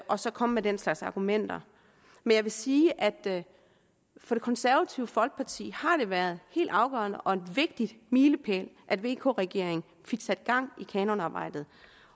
og så komme med den slags argumenter jeg vil sige at det for det konservative folkeparti har været helt afgørende og en vigtig milepæl at vk regeringen fik sat gang i kanonarbejdet